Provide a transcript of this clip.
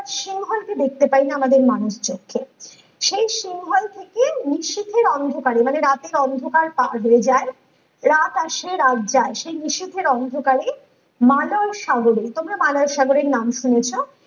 সিংহল কে দেখতে পাইনা আমাদের মানুষ চক্ষে সেই সিংহল থেকে নিশীথের অন্ধকারে মানে রাতের অন্ধকার পার হয়ে যায় রাত আসে রাত যায় সেই নিশীথের অন্ধকারে মানস সাগরে তোমরা মানস সাগরের নাম শুনেছ